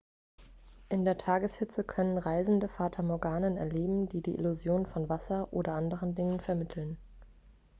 in der tageshitze können reisende fata morganen erleben die die illusion von wasser oder anderen dingen vermitteln